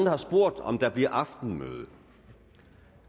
har spurgt om der bliver aftenmøde